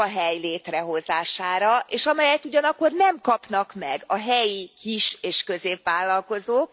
munkahely létrehozására, és amelyet ugyanakkor nem kapnak meg a helyi kis és középvállalkozók.